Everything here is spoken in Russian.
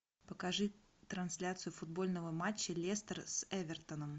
покажи трансляцию футбольного матча лестер с эвертоном